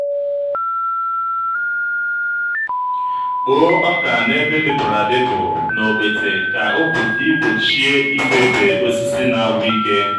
kpoo ọka n'ebe dịpụrụ adịpụ na okpete ka ị gbochie ịfefe osisi na-agwụ ike.